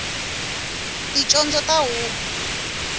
ticondzo ta huku